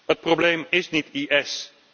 Het probleem is niet IS.